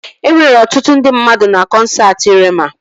E nwere ọtụtụ ndị mmadụ na kọnsaati Reema